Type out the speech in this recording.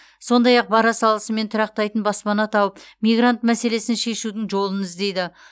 сондай ақ бара салысымен тұрақтайтын баспана тауып мигрант мәселесін шешудің жолын іздейді